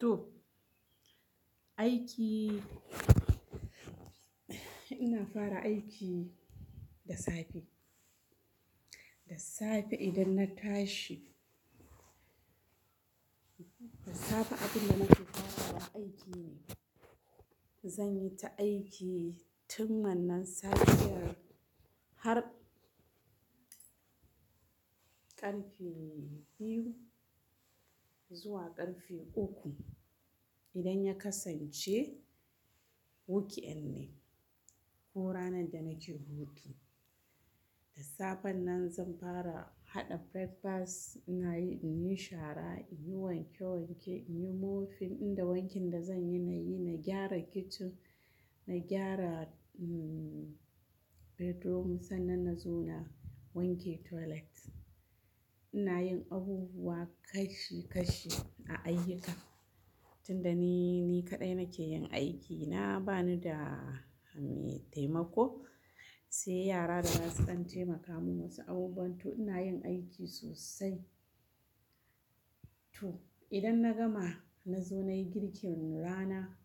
To aiki. Ina fara aiki da safe, da safe idan na tashi. Da safe abinda nake fara aiki ne. Zanyi ta aiki tun wannan safiyar har ƙarfe biyu zuwa ƙarfe uku. Idan ya kasance weekend ne ko ranar da nake hutu. Da safe nan zan fara haɗa breakfast. Ina yin shara, in yi wanke wanke, in yi mo fin inda wankin da zan yi na yi, na gyara kicin, na gyara mm bedroom sannan na zo na wanke toilet. Ina yin abubuwa kashi kashi a ayyuka. Tunda ni, ni kaɗai nake yin aiki. Na bani da metaimako, sai yara da zasu ɗan taimaka min wasu abubuwan. To ina yin aiki sosai. To idan na gama, na zo na yi girkin rana,